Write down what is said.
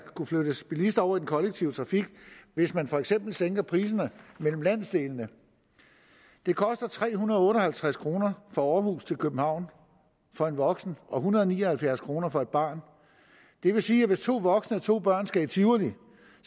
kunne flyttes bilister over i den kollektive trafik hvis man for eksempel sænker priserne mellem landsdelene det koster tre hundrede og otte og halvtreds kroner fra aarhus til københavn for en voksen og en hundrede og ni og halvfjerds kroner for et barn det vil sige at hvis to voksne og to børn skal i tivoli